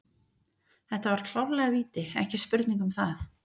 Þetta var klárlega víti, ekki spurning um það.